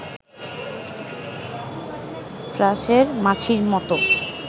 ফ্রাঁসের মাছির মতো